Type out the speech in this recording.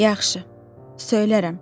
Yaxşı, söylərəm.